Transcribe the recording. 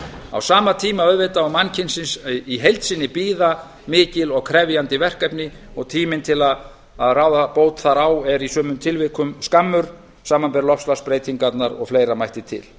á sama tíma auðvitað og mannkynsins í heild sinni bíða mikil og krefjandi verkefni og tíminn til að ráða bót þar á er í sumum tilvikum skammur samanber loftslagsbreytingarnar og fleira mætti til